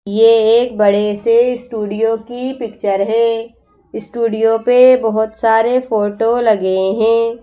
ये एक बड़े से स्टूडियो की पिक्चर है स्टूडियो पे बहुत सारे फोटो लगे हैं।